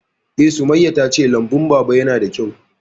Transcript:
Eh, Sumayya ta ce lambun Baba ya na da kyau